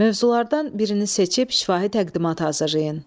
Mövzulardan birini seçib şifahi təqdimat hazırlayın.